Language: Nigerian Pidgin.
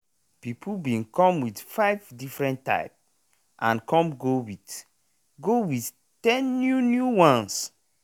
people bin come with five different type and com go with go with ten new new ones